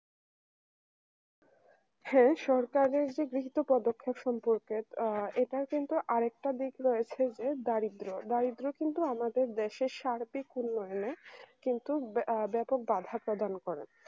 হ্যাঁ সরকারের যে গৃহীত পদক্ষেপ সম্পর্কে আ এটার কিন্তু আরেকটা দিক রয়েছে যে দারিদ্র্য দারিদ্র কিন্তু আমাদের দেশে সার্বিক উন্নয়নে কিন্তু আ ব্যাপক বাধা প্রদান করে